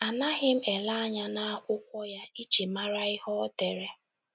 Anaghị m elenye anya n’akwụkwọ ya iji mara ihe o dere.